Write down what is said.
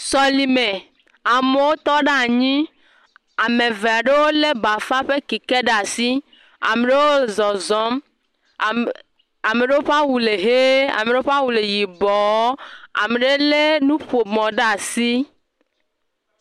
Sɔlime, amewo tɔ ɖe anyi, ame eve aɖewo lé bafa ƒe keke ɖe asi, ame ɖewo zɔzɔm, ame ɖewo ƒe awu le ʋe, ame ɖewo ƒe awu yibɔɔ, ame ɖe lé nuƒomɔ ɖe asi.